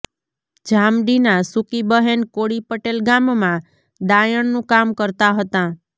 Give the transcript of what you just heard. જામડીના સૂકીબહેન કોળી પટેલ ગામમાં દાયણનું કામ કરતાં હતાં